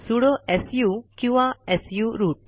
sudo su किंवा su route